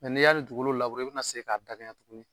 n'i y'a ni dugukolo labure i bɛna segin k'a bɛɛ kɛ ɲɛ tugunni.